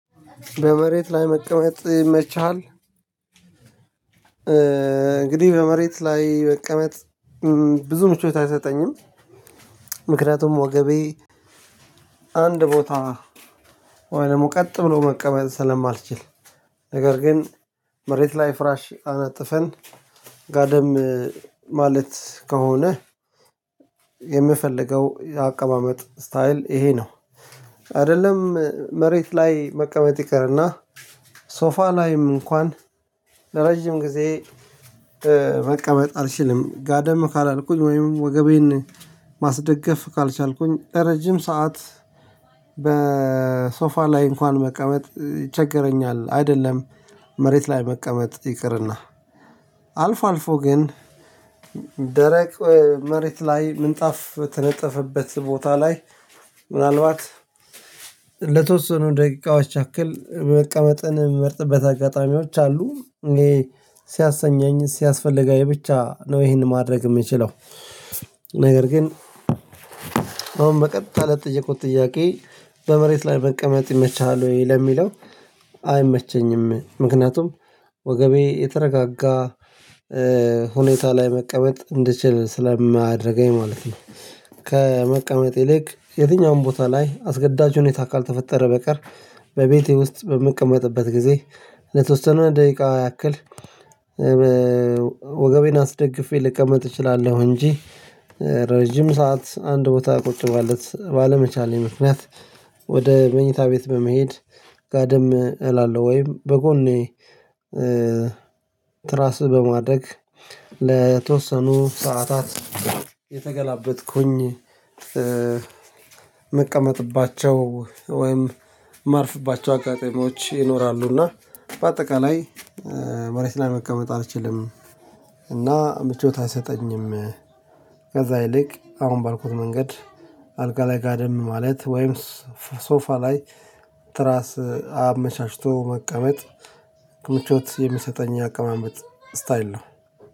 በመሬት ላይ መቀመጥ ይመችሃል? እንግዲህ በመሬት ላይ መቀመጥ ብዙ ምቾት አይሰጠኝም። ምክንያቱም ወገቤ አንድ ቦታ ወይ ደግሞ ቀጥ ብሎ መቀመጥ ስለማልችል። ነገር ግን መሬት ላይ ፍራሽ አነጥፈን ጋደም ማለት ከሆነ የምፈልገው አቀማመጥ ስታይል ይሄ ነው። አይደለም መሬት ላይ መቀመጥ ይቅርና ሶፋ ላይም እንኳን ለረጅም ጊዜ መቀመጥ አልችልም ጋደም ካላልኩኝ ወይም ወገቤን ማስደገፍ ካልቻልኩኝ ረጅም ሰዓት በሶፋ ላይ እንኳን መቀመጥ ይቸግረኛል። አይደለም መሬት ላይ መቀመጥ ይቅርና አልፎ አልፎ ግን ደረቅ መሬት ላይ ምንጣፍ በተነጠፈበት ቦታ ላይ ምናልባት ለተወሰኑ ደቂቃዎች ያክል መቀመጥን ምመርጥበት አጋጣሚዎች አሉ ይሄ ሲያሰኘኝ ሲያስፈልገኝ ብቻ ነው። ይሄንን ማድረግ የምችለው። ነገር ግን አሁን በቀጥታ ለተጠየኩት ጥያቄ በመሬት ላይ መቀመጥ ይመችሃል? ወይ ለሚለው አይመቸኝም ምክንያቱም ወገቤ የተረጋጋ ሁኔታ ላይ መቀመጥ እንድችል ስለማያደርገኝ ማለት ነው። ከመቀመጥ ይልቅ የትኛውም ቦታ ላይ አስገዳጅ ሁኔታ ካልተፈጠረ በቀር በቤቴ ውስጥ በምቀመጥበት ጊዜ ለተወሰኑ ደቂቃ ያክል ወገቤን አስደግፌ ልቀመጥ እችላለሁ። እንጂ ረጅም ሰዓት አንድ ቦታ ቁጭ ማለት ባለመቻሌ ምክንያት መኝታ ቤት በመሄድ ጋደም እላለሁ ወይም በጎኔ ትራስ በማድረግ ለተወሰኑ ሰዓታት የተገላበጥኩኝ ምቀመጥባቸው ወይም ማርፍባቸው አጋጣሚዎች ይኖራሉና። በአጠቃላይ መሬት ላይ መቀመጥ አልችልም እና ምቾት አይሰጠኝም። ከዛ ይልቅ አሁን ባልኩት መንገድ አልጋ ላይ ጋደም ማለት ወይም ሶፋ ላይ ትራስ አመቻችቶ መቀመጥ ምቾት የሚሰጠኝ አቀማመጥ ስታይል ነው።